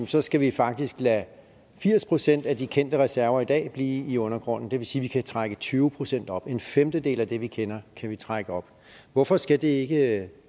så skal vi faktisk lade firs procent af de kendte reserver i dag blive i undergrunden det vil sige at vi kan trække tyve procent op altså en femtedel af det vi kender kan vi trække op hvorfor skal det ikke